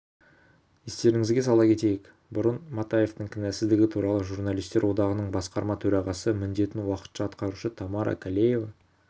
естеріңізге сала кетейік бұрын матаевтің кінәсіздігі туралы журналистер одағының басқарма төрағасы міндетін уақытша атқарушы тамара калеева